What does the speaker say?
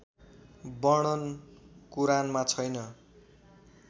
वर्णन कुरानमा छैन